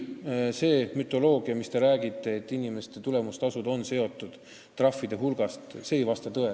Aga see, et inimeste tulemustasud on seotud trahvide hulgaga, ei vasta tõele.